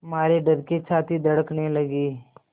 मारे डर के छाती धड़कने लगी